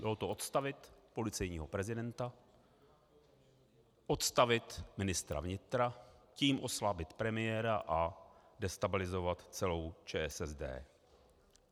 Bylo to odstavit policejního prezidenta, odstavit ministra vnitra, tím oslabit premiéra a destabilizovat celou ČSSD.